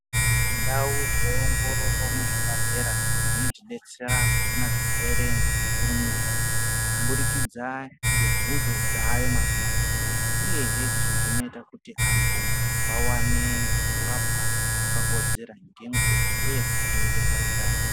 Ndau dzeongororo muzvibhadhlera dzinotibetsera kuona zvirwere ngekukurumidza. Kubudikidza ngebvunzo dzayo mazuva ano, uyehe izvi zvinoita kuti antu vavane kutapwa kwakakodzera ngenguva uye kuchengetedza utano.